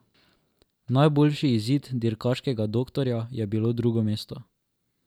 Najboljši izid dirkaškega doktorja je bilo drugo mesto.